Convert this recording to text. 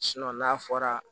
n'a fɔra